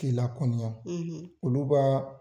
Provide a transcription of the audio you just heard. K'i lakɔniya olu ka